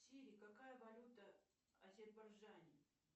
сири какая валюта в азербайджане